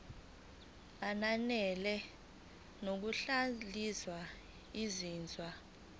ananele ngokuhlaziya izinzwa